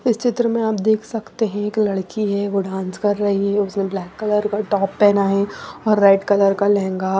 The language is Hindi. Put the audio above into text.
इस चित्र में आप देख सकते हैं एक लड़की है वो डांस कर रही है उसने ब्लैक कलर का टॉप पहना है और रेड कलर का लहंगा।